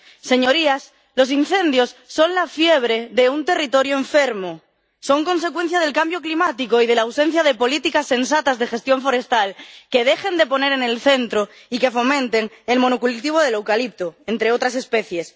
Señorías, los incendios son la fiebre de un territorio enfermo, son consecuencia del cambio climático y de la ausencia de políticas sensatas de gestión forestal que dejen de poner en el centro y de fomentar el monocultivo del eucalipto, entre otras especies.